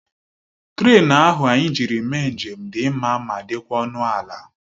Trén ahụ anyị jiri mee njem dị mma ma dịkwa ọnụ ala